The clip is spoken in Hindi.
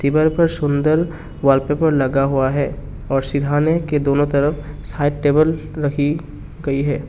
दीवार पर सुंदर वॉलपेपर लगा हुआ है और सिरहाने के दोनों तरफ साइड टेबल रखी गई है।